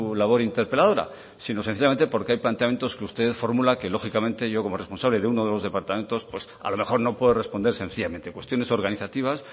labor interpeladora sino sencillamente porque hay planteamientos que usted formula que lógicamente yo como responsable de uno de los departamentos pues a lo mejor no puedo responder sencillamente cuestiones organizativas